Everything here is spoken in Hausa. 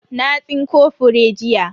Na tsinko fure jiya.